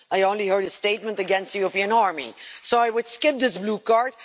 I only heard a statement against the European army, so I would skip this blue card.